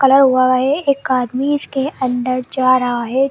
Colour होवा हुआ है एक आदमी इसके अंदर जा रहा है।